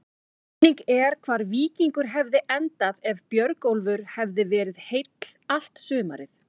Spurning er hvar Víkingur hefði endað ef Björgólfur hefði verið heill allt sumarið?